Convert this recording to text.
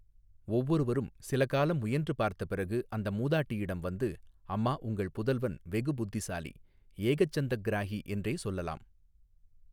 ஒவ்வொருவரும் சிலகாலம் முயன்று பார்த்தபிறகு அந்த மூதாட்டியிடம் வந்து அம்மா உங்கள் புதல்வன் வெகு புத்திசாலி ஏகசந்தக்கிராஹி என்றே சொல்லலாம்.